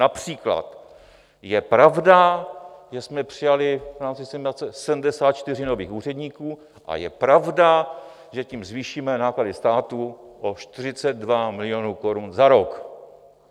Například je pravda, že jsme přijali v rámci 74 nových úředníků a je pravda, že tím zvýšíme náklady státu o 42 milionů korun za rok.